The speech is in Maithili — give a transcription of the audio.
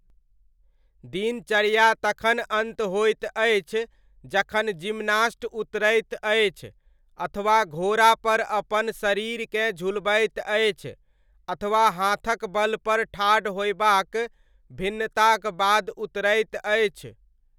दिनचर्या तखन अन्त होइत अछि जखन जिम्नास्ट उतरैत अछि, अथवा घोड़ापर अपन शरीरकेँ झुलबैत अछि अथवा हाथक बलपर ठाढ़ होयबाक भिन्नताक बाद उतरैत अछि।